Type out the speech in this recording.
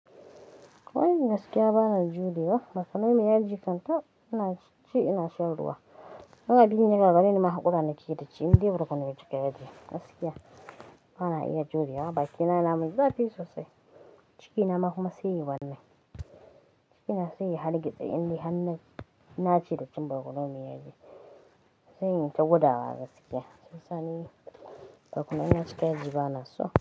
Ko in gaskiya ba na juya ba, maka nomiya ji kanta ina ci ina shan ruwa. In abin yagagareni nima haku rana ki yi daci in dai barkono ya cika yaji Gaskiya ba na iya jurewa ba, baki na yanamin zafi sosai. Ciki na ma kuma sai yi wanne. Ciki na sai yi har gizo in dai hannun na cire kum barkono miyaji. Sai in ta guda wa gaskiya. Sai sani bakuna na cika ji ba nasu.